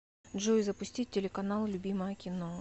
джой запустить телеканал любимое кино